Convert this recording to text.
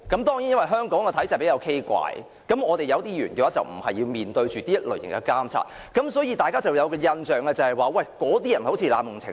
當然，在香港的畸形體制下，有些議員無須面對選民的監察，所以大家便有一種印象，那些議員似乎濫用程序。